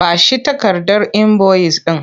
Ba shi takardar inboyis ɗin!